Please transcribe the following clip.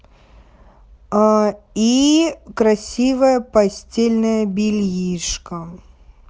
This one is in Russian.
а и красивое постельное бельишко